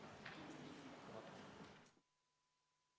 Istungi lõpp kell 11.38.